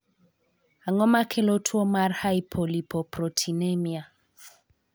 Ang'o makelo tuo mar hypolipoproteinemia?